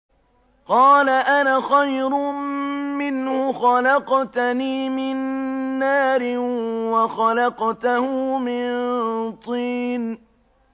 قَالَ أَنَا خَيْرٌ مِّنْهُ ۖ خَلَقْتَنِي مِن نَّارٍ وَخَلَقْتَهُ مِن طِينٍ